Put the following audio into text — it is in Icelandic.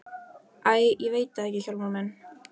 Æi, ég veit það ekki Hjálmar minn.